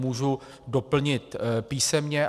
Můžu doplnit písemně.